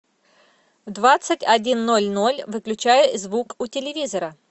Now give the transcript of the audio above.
в двадцать один ноль ноль выключай звук у телевизора